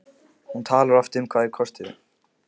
Hún talar oft um hvað þeir kostuðu.